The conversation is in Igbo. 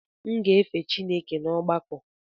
M ga na efe Chineke n’ọgbakọ.